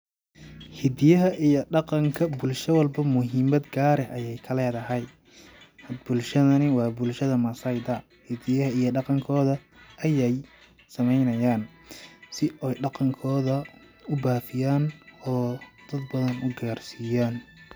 Hidiyaha iyo dhaqanka bulsha walbo muhimad gaar eh ayeey ka leedahay ,bulshadani waa bulshada massai da ,hidiyaha iyo dhaqan kooda ayeey sameynayaaan ,si ooy dhaqan kooda u bafiyaan oo dad badan u gaar siyaan .